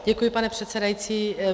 Děkuji, pane předsedající.